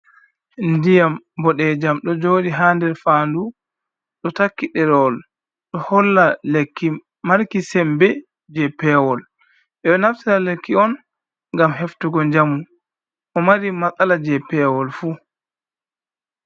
Ndiyam boɗejum ɗo joɗi ha nder fandu, ɗo takki ɗerewol, ɗo holla lekki marki sembe je pewol, ɓeɗo naftira lekki on ngam heftugo jamu, mo mari masala je pewol fu.